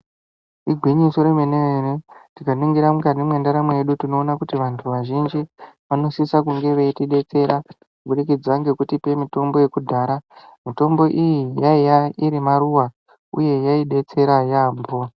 Igwinyiso remene-mene tikaningira mukati mwendaramo yedu tinoona kuti vantu vazhinji vanosisa kunge veitidetsera kubudikidza ngekuita mitombo yekudhara. Mitombo iyi yaive iri maruwa uye yaidetsera yaamho.